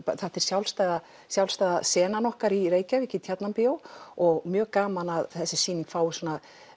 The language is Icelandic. sjálfstæða sjálfstæða senan okkar í Reykjavík í Tjarnarbíó og mjög gaman að þessi sýning fái svona